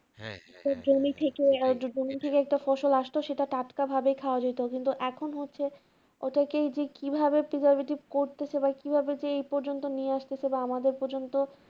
ফসল আসতো সেটা টাটকা ভাবে খাওয়া যেত কিন্তু এখন হচ্ছে ওটাকেই যে কিভাবে কিভাবে ঠিক করতো সে এবার কিভাবে যে এই পর্যন্ত নিয়ে আসতো সেটা আমাদের পর্যন্ত